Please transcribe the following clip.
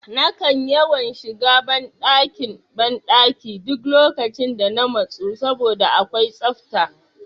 Nakan yawan shiga ban ɗakin banki duk lokacin da na matsu saboda akwai safta